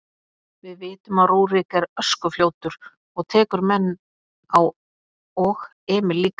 Við vitum að Rúrik er öskufljótur og tekur menn á og Emil líka.